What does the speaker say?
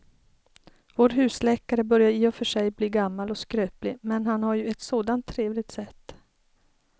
Vår husläkare börjar i och för sig bli gammal och skröplig, men han har ju ett sådant trevligt sätt!